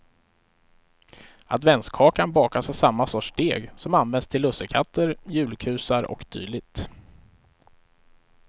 Adventskakan bakas av samma sorts deg som används till lussekatter, julkusar och dylikt.